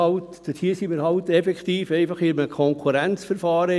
Und dort sind wir halt einfach in einem Konkurrenzverfahren.